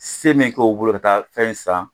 Se min k'o bolo ka taa fɛn san